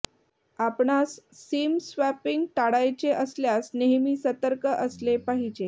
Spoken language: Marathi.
आपणास सिम स्वॅपिंग टाळायचे असल्यास नेहमी सतर्क असले पाहिजे